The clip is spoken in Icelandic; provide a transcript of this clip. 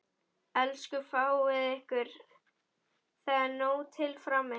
Elsku fáið ykkur, það er nóg til frammi.